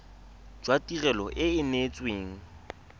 jwa tirelo e e neetsweng